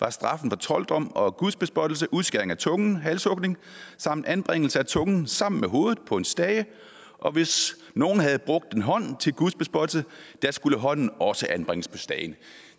at straffen for trolddom og gudsbespottelse var udskæring af tungen halshugning samt anbringelse af tungen sammen med hovedet på en stage og hvis nogen havde brugt en hånd til gudsbespottelsen skulle hånden også anbringes på stagen